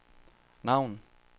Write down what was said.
navn